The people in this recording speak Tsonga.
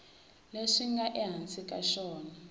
leswi nga ehansi ka xona